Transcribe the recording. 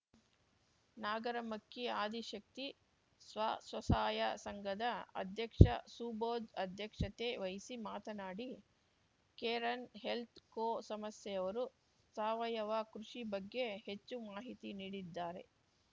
ನಾಗರಮಕ್ಕಿ ಆದಿ ಶಕ್ತಿ ಸ್ವಸಹಾಯ ಸಂಘದ ಅಧ್ಯಕ್ಷ ಸುಬೋದ್‌ ಅಧ್ಯಕ್ಷತೆ ವಹಿಸಿ ಮಾತನಾಡಿ ಕೇರನ್‌ ಹೆಲ್ತ್‌ ಕೋ ಸಂಸ್ಯೆಯವರು ಸಾವಯವ ಕೃಷಿ ಬಗ್ಗೆ ಹೆಚ್ಚು ಮಾಹಿತಿ ನೀಡಿದ್ದಾರೆ